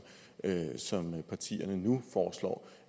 partierne nu foreslår